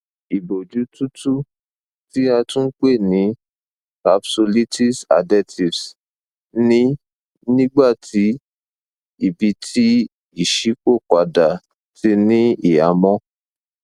iboju tutu ti a tun pe ni capsulitis adhesives ni nigbati ibiti iṣipopada ti ni ihamọ